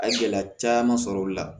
A ye gɛlɛya caman sɔrɔ o la